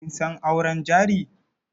Kin san auren jari?